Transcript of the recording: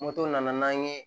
Moto nana n'an ye